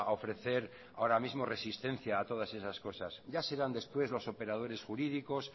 ofrecer ahora mismo resistencia a todas esas cosas ya serán después los operadores jurídicos